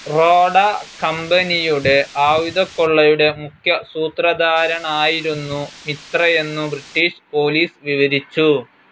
റോഡ കമ്പനിയുടെ ആയുധക്കൊള്ളയുടെ മുഖ്യ സൂത്രധാരണായിരുന്നു മിത്രയെന്നു ബ്രിട്ടീഷ് പോലീസ് വിവരിച്ചു.